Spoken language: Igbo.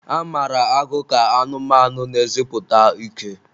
A mara agụ ka anụmanụ na-eziputa ike.